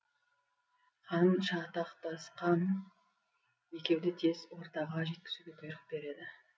хан шатақтасқан екеуді тез ордаға жеткізуге бұйрық береді